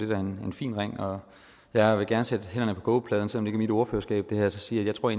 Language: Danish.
da en fin ring og jeg vil gerne sætte hænderne på kogepladen selv om det mit ordførerskab og sige at jeg tror